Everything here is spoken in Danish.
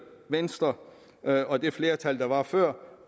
venstre og det flertal der var før